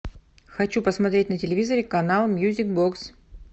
хочу посмотреть на телевизоре канал мьюзик бокс